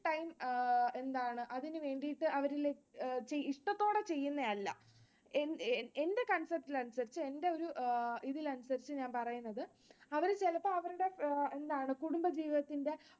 എന്താണ് അതിനു വേണ്ടീട്ട് അവര് ഇഷ്ടത്തോടെ ചെയുന്നതല്ല. എന്റെ concept ൽ അനുസരിച്ച് എന്റെ ഒരു ഇതിൽ അനുസരിച്ച് ഞാൻ പറയുന്നത് അവര് ചിലപ്പോൾ അവരുടെ എന്താണ് കുടുംബജീവിതത്തിന്റെ